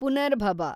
ಪುನರ್ಭಬ